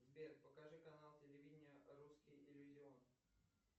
сбер покажи канал телевидения русский иллюзион